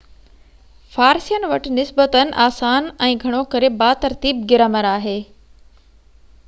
فارسين وٽ نسبتاً آسان ۽ گهڻو ڪري با ترتيب گرامر آهي